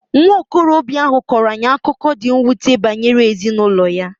Nwa okorobịa ahụ kọọrọ anyị akụkọ dị mwute banyere ezinụlọ ya.